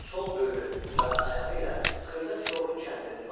Sol böyrü və ayağı ilə xırda tilovun kəndirini basdı.